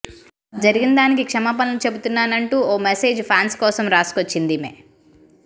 జరిగిన దానికి క్షమాపణలు చెబుతున్నాననంటూ ఓ మెసేజ్ ఫ్యాన్స్ కోసం రాసుకొచ్చింది ఈమె